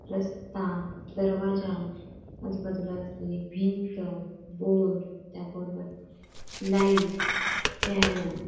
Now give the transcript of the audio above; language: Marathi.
रस्ता दरवाज्या आजूबाजुला असलेली भिंत बोर्ड त्या बोर्ड वर लाईट फॅन --